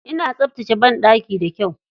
Ina tsaftace baɗaki da kyau.